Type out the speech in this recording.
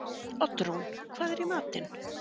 Oddrún, hvað er í matinn?